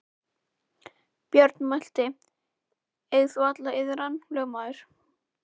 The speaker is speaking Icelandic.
Björn mælti: Eig þú alla iðran, lögmaður.